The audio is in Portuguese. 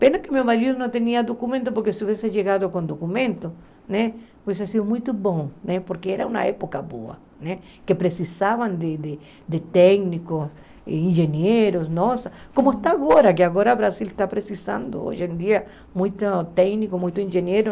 Pena que meu marido não tinha documento, porque se tivesse chegado com documento, né seria muito bom, porque era uma época boa né, que precisavam de técnicos, engenheiros, como está agora, que agora o Brasil está precisando, hoje em dia, muitos técnicos, muitos engenheiros.